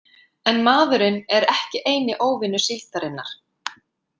En maðurinn er ekki eini „óvinur“ síldarinnar.